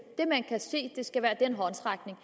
det man kan se skal være den håndsrækning